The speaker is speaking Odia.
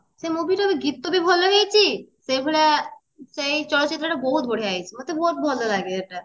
ସେଇ movie ରେ ବି ଗୀତ ବି ଭଲ ହେଇଛି ସେଭଳିଆ ସେଇ ଚଳଚିତ୍ର ତ ବହୁତ ବଢିଆ ହେଇଛି ମତେ ବହୁତ ଭଲ ଲାଗେ ସେଇଟା